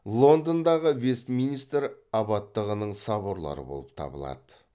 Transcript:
лондондағы вестминистр абаттығының соборлары болып табылады